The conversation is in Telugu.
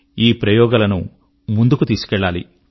ఈ ప్రయోగాలను ముందుకు తీసుకెళ్ళాలి